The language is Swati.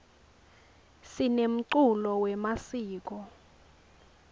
sinemculo wemasiko